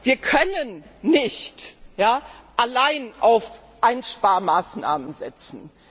Wir können nicht allein auf Einsparmaßnahmen setzen.